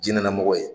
Diinɛlamɔgɔ ye